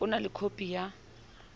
o na le khopi ya